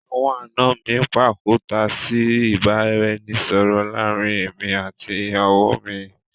Àwọn àna mi pàkúta sí ìbáraẹnisọọ̀rọ̀ láàrín èmi àti ìyàwó mi